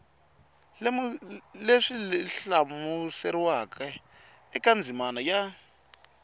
leswi hlamuseriweke eka ndzimana ya